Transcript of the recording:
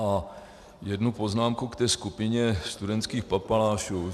A jednu poznámku k té skupině studentských papalášů.